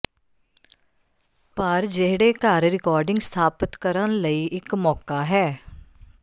ਪਰ ਿਜਹੜੇਘਰ ਰਿਕਾਰਡਿੰਗ ਸਥਾਪਤ ਕਰਨ ਲਈ ਇੱਕ ਮੌਕਾ ਹੈ